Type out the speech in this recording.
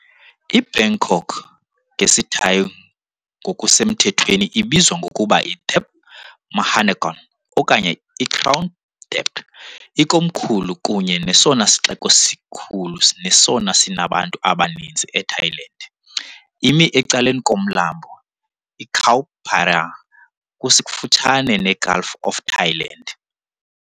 IBangkok, ngesiThai ngokusemthethweni ibizwa ngokuba Thep Maha Nakhon okanye iKrung Thep ikomkhulu kunye nesona sixeko sikhulu nesona sinabantu abaninzi eThailand, imi ecaleni koMlambo iChao Phraya, kufutshane neGulf of Thailand.